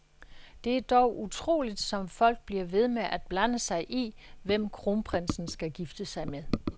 Det er dog utroligt, som folk bliver ved med at blande sig i, hvem kronprinsen skal gifte sig med.